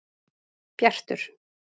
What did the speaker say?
Bjartur